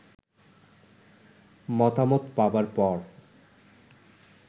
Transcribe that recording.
মতামত পাবার পর